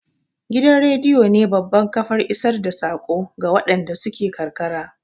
Gidan rediyo ne babbar kafar isar da saƙo ga waɗanda suke karkara